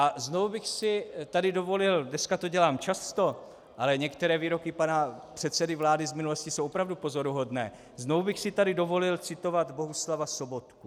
A znovu bych si tady dovolil, dneska to dělám často, ale některé výroky pana předsedy vlády z minulosti jsou opravdu pozoruhodné, znovu bych si tady dovolil citovat Bohuslava Sobotku.